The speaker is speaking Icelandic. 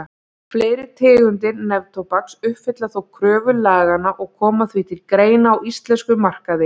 Fleiri tegundir neftóbaks uppfylla þó kröfur laganna og koma því til greina á íslenskum markaði.